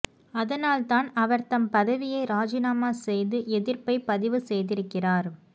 அதனால்தான் அவர் தம் பதவியை ராஜினாமா செய்து எதிர்ப்பை பதிவு செய்திருக்கிறார்